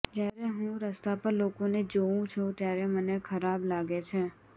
જ્યારે હું રસ્તા પર લોકોને જોઉં છું ત્યારે મને ખરાબ લાગે છે